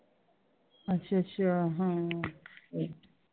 ਅੱਛਾ ਅੱਛਾ ਹਾਂ